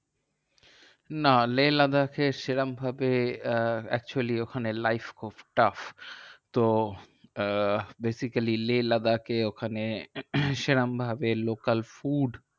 না লেহ লাদাখে সেরম ভাবে আহ actually ওখানে life খুব tough. তো আহ basically লেহ লাদাখে ওখানে সেরম ভাবে local food